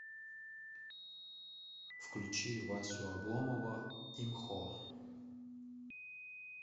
включи васю обломова имхо